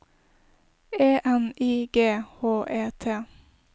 E N I G H E T